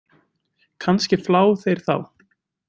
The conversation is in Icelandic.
Kannski flá þeir þá?